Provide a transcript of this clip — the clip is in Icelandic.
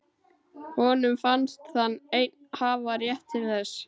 Honum fannst hann einn hafa rétt til þess.